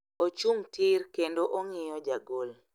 Ochung' tir kendo ong'iyo ja gol.